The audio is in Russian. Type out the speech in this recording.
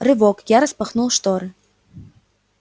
рывок я распахнул шторы